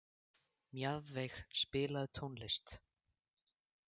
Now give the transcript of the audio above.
Mjaðveig, spilaðu tónlist.